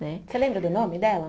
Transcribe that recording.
Né. Você lembra do nome dela?